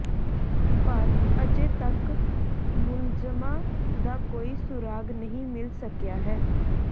ਪਰ ਅਜੇ ਤੱਕ ਮੁਲਜ਼ਮਾਂ ਦਾ ਕੋਈ ਸੁਰਾਗ ਨਹੀਂ ਮਿਲ ਸਕਿਆ ਹੈ